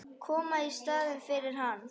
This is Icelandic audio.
Koma í staðinn fyrir hann.